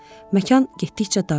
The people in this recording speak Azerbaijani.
Məkan getdikcə daralır.